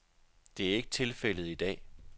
Det er ikke tilfældet i dag.